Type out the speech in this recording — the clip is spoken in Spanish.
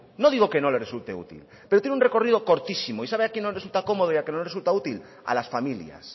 no digo que no le resulte útil pero tiene un recorrido cortísimo y sabe a quién no le resulta cómodo y a quién no le resulta útil a las familias